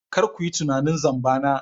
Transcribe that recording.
Kar ku yi tunanin zamba na.